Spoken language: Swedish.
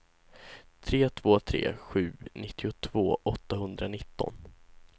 tre två tre sju nittiotvå åttahundranitton